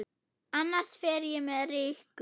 Annars fer ég með Rikku